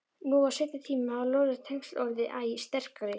Nú á seinni tímum hafa lóðrétt tengsl orðið æ sterkari.